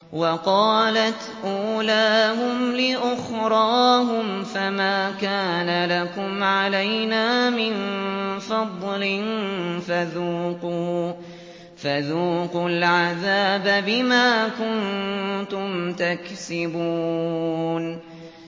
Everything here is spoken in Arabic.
وَقَالَتْ أُولَاهُمْ لِأُخْرَاهُمْ فَمَا كَانَ لَكُمْ عَلَيْنَا مِن فَضْلٍ فَذُوقُوا الْعَذَابَ بِمَا كُنتُمْ تَكْسِبُونَ